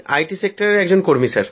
টি সেক্টরের একজন কর্মী